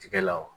Tigɛ la wa